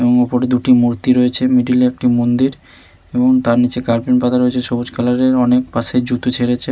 এবং ওপরে দুটি মূর্তি রয়েছে মিডিল এ একটি মন্দির এবং তার নিচে কার্পেট পাতা রয়েছে সবুজ কালার এর অনেক পাশে জুতো ছেড়েছে।